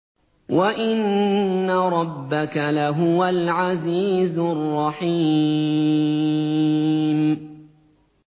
وَإِنَّ رَبَّكَ لَهُوَ الْعَزِيزُ الرَّحِيمُ